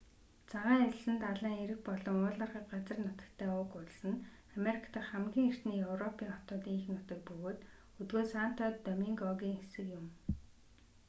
цагаан элсэн далайн эрэг болон уулархаг газар нутагтай уг улс нь америк дахь хамгийн эртний европын хотуудын эх нутаг бөгөөд өдгөө санто домингогийн хэсэг юм